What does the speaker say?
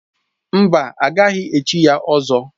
Mba, a gaghị echi ya ỌZỌ.